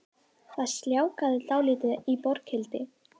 Það sljákkaði dálítið í Borghildi